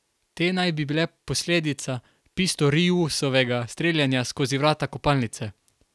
Te naj bi bile posledica Pistoriusovega streljanja skozi vrata kopalnice.